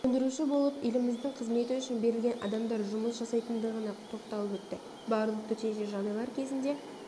сөндіруші болып еліміздің қызметі үшін берілген адамдар жұмыс жасайтындығына тоқталып өтті барлық төтенше жағдайлар кезінде